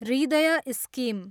हृदय स्किम